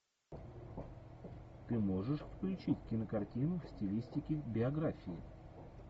ты можешь включить кинокартину в стилистике биографии